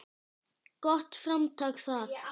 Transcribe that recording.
Gott framtak það.